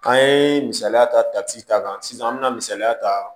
K'an ye misaliya ta ta ci ta kan sisan an me na misaliya ta